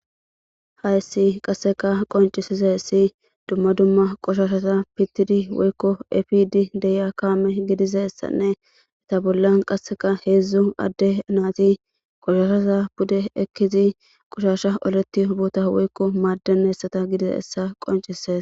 Hayssi qasseka qonccisizayssi dumma dumma qoshashaza pittidi woykko efiidi de'iya kaame gidizayssanne eeta bollan qasseka heedzdzu adde naati qoshoshaza pude ekkidi qushasha oletiyo boota woykko maadenayssata gidizayssa qonccises.